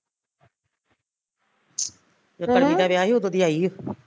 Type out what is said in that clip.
ਜਦੋਂ ਪੱਲੀ ਦਾ ਵਿਆਹ ਸੀ ਉਦੋਂ ਦੀ ਆਈ ਓ ਅਹ